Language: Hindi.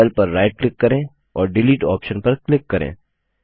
अब सेल पर राइट क्लिक करें और डिलीट ऑप्शन पर क्लिक करें